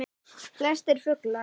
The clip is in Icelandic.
Flestir fuglar